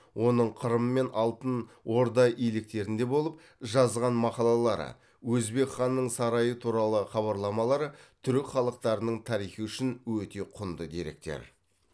оның қырым мен алтын орда иеліктерінде болып жазған мақалалары өзбек ханның сарайы туралы хабарламалары түрік халықтарының тарихы үшін өте құнды деректер